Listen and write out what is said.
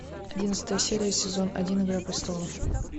одиннадцатая серия сезон один игра престолов